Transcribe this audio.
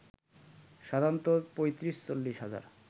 সাধারণত ৩৫-৪০ হাজার